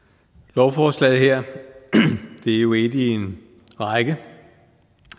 lovforslaget her er jo et i en række